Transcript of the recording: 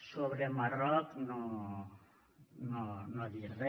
sobre el marroc no ha dit re